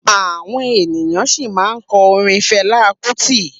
Àwọn ènìyàn sì ma kọ orin Felá kútì